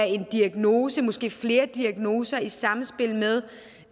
en diagnose måske flere diagnoser i samspil med